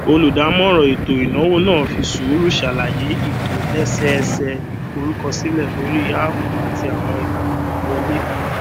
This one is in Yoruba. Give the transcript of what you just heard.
olùdamọràn ètò ìnáwó náà fi sùúrù ṣàlàyè ìtòlẹsẹẹsẹ ìforúkọsílẹ lórí áàpù àti àwọn ìlànà ìwọlé